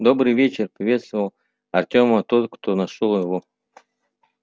добрый вечер приветствовал артема тот кто нашёл его